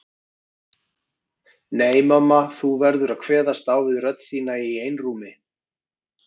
Nei mamma þú verður að kveðast á við rödd þína í einrúmi.